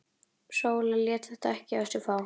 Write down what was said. Sóla lét þetta ekki á sig fá.